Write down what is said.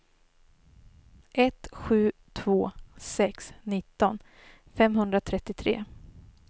ett sju två sex nitton femhundratrettiotre